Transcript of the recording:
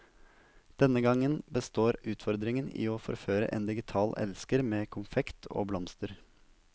Denne gangen består utfordringen i å forføre en digital elsker med konfekt og blomster.